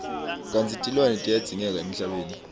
kantsi tilwane tiyadzingeka emhlabeni